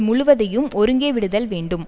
முழுவதையும் ஒருங்கே விடுதல் வேண்டும்